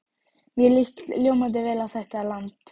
Mér líst ljómandi vel á þetta land.